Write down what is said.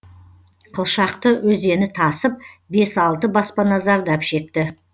қылшақты өзені тасып бес алты баспана зардап шекті